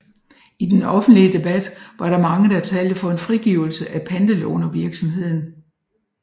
I den offentlige debat var der mange der talte for en frigivelse af pantelånervirksomheden